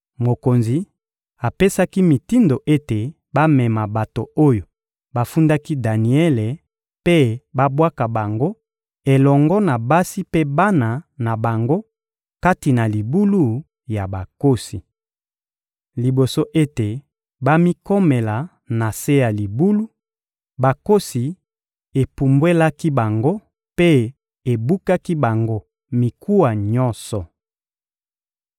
Mokonzi apesaki mitindo ete bamema bato oyo bafundaki Daniele mpe babwaka bango elongo na basi mpe bana na bango kati na libulu ya bankosi. Liboso ete bamikomela na se ya libulu, bankosi epumbwelaki bango mpe ebukaki bango mikuwa nyonso.